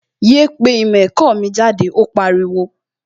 Yéé pé ìmọ̀ ẹ̀kọ́ mi jáde, ó pariwo!